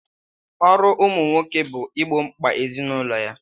Ọrụ ụmụ nwoke bụ igbo mkpa ezinụlọ ya.